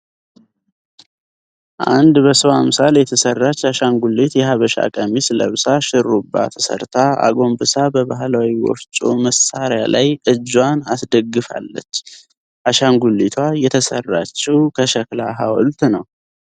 አንድ በሰው አምሳል የተሰራች አሻንጉሊት የሃበሻ ቀሚስ ለብሳ ሹሩባ ተሰርታ አጎንብሳ በባህላዊ ወፍጮ መሳሪያ ላይ እጇን አስደግፋለች። አሻንጉሊቷ የተሰራችው ከሸክላ ሃውልት ነው።